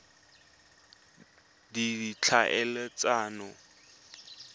ditlhaeletsano